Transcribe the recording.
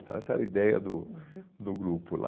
Então essa era a ideia do, uhum, do grupo lá.